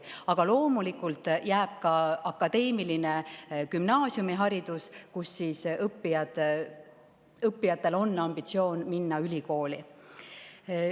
Aga loomulikult jääb ka akadeemiline gümnaasiumiharidus, on ambitsioon minna ülikooli.